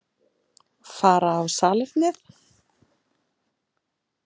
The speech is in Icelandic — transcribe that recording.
Fara á salernið?